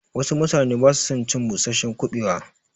Wassu mutane basu son cin busasshen kuɓewa